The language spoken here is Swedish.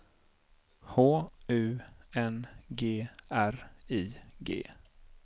H U N G R I G